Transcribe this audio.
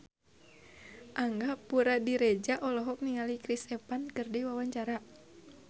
Angga Puradiredja olohok ningali Chris Evans keur diwawancara